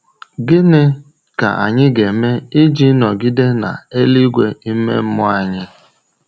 Gịnị ka anyị ga-eme iji nọgide na eluigwe ime mmụọ anyị?